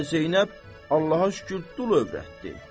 Hələ Zeynəb Allaha şükür dul övrətdi.